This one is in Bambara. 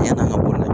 Yann'an ka boli